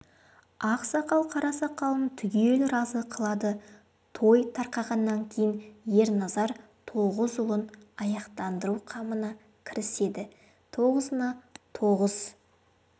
ақсақал қарасақалын түгел разы қылады той тарқағаннан кейін ерназар тоғыз ұлын аяқтандыру қамына кіріседі тоғызына тоғыз